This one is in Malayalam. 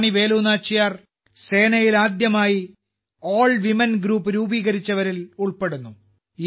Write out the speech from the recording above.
റാണി വേലു നാച്ചിയാർ സേനയിൽ ആദ്യമായി ഓൾ വിമൻ ഗ്രൂപ്പ് രൂപീകരിച്ചവരിൽ ഉൾപ്പെടുന്നു